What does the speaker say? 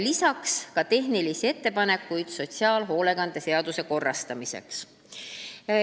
Lisaks oli tehnilisi ettepanekuid sotsiaalhoolekande seaduse korrastamiseks.